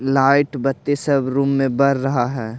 Light बत्ती सब room में बर रहा है ।